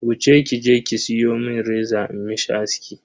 Wuce kije ki siyo mun reza in mishi aski.